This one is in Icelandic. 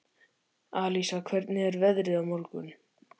Alísa, hvernig er veðrið á morgun?